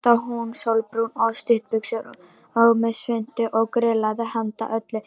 Þarna stóð hún sólbrún á stuttbuxum og með svuntu og grillaði handa öllu hverfinu.